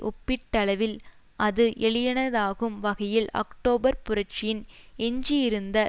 ஒப்பீட்டளவில் அது எளிதானதாகும் வகையில் அக்டோபர் புரட்சியின் எஞ்சியிருந்த